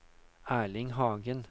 Erling Hagen